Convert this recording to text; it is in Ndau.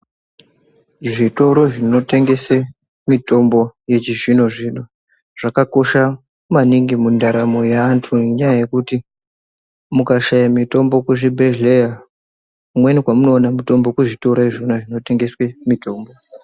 Zvitoro zvinga tengese mutombo yechizvino zvino zvakakosha maningi mundaramo yaantu ngenyaya yekuti mukashaya mutombo kuzvibhedhleya kumweni kwamunowana mutombo kuzvitoro zvina zvinotengeswe mutombo.